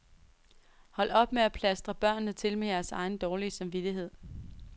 Hold op med at plastre børnene til med jeres egen dårlige samvittighed.